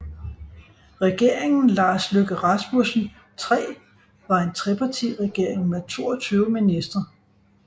Regeringen Lars Løkke Rasmussen III var en trepartiregering med 22 ministre